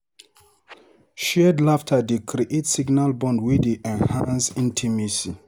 Shared laughter dey create special bond wey dey enhance intimacy.